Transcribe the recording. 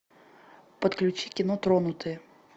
подключи кино тронутые